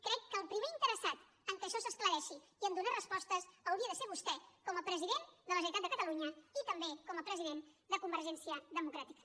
crec que el primer interessat que això s’esclareixi i a donar respostes hauria de ser vostè com a president de la generalitat de catalunya i també com a president de convergència democràtica